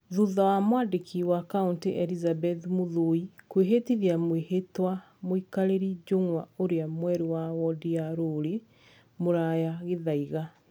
Thutha wa mwandĩki wa kauntĩ Elizabeth Mũthũi kũhĩtithia mwĩhĩtwa mũikarĩri njũng'wa ũrĩa mwerũ wa wondi ya Rũriĩ, Mũraya Gĩthaiga.